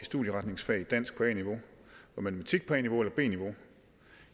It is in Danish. i studieretningsfag i dansk på a niveau og i matematik på a niveau eller b niveau